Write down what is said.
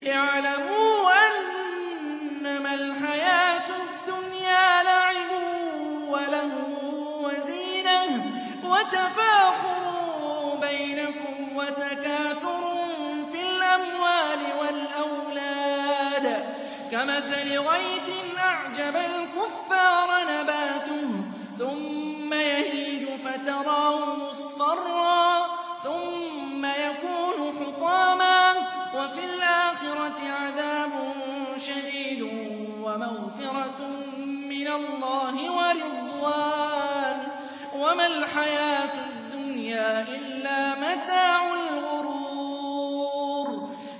اعْلَمُوا أَنَّمَا الْحَيَاةُ الدُّنْيَا لَعِبٌ وَلَهْوٌ وَزِينَةٌ وَتَفَاخُرٌ بَيْنَكُمْ وَتَكَاثُرٌ فِي الْأَمْوَالِ وَالْأَوْلَادِ ۖ كَمَثَلِ غَيْثٍ أَعْجَبَ الْكُفَّارَ نَبَاتُهُ ثُمَّ يَهِيجُ فَتَرَاهُ مُصْفَرًّا ثُمَّ يَكُونُ حُطَامًا ۖ وَفِي الْآخِرَةِ عَذَابٌ شَدِيدٌ وَمَغْفِرَةٌ مِّنَ اللَّهِ وَرِضْوَانٌ ۚ وَمَا الْحَيَاةُ الدُّنْيَا إِلَّا مَتَاعُ الْغُرُورِ